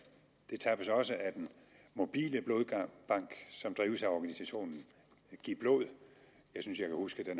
det tappes også af den mobile blodbank som drives af organisationen givblod jeg synes jeg kan huske den